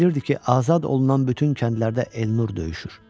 Elə bilirdi ki, azad olunan bütün kəndlərdə Elnur döyüşür.